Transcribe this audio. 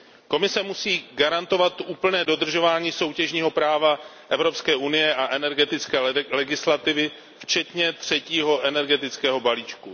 Komise musí garantovat úplné dodržování soutěžního práva Evropské unie a energetické legislativy včetně třetího energetického balíčku.